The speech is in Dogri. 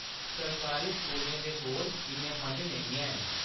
सरकारी स्कूलें दे कोल इन्ने फंड नेईं हैन।